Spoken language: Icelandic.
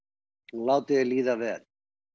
og látið þér líða vel